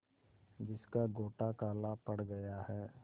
जिसका गोटा काला पड़ गया है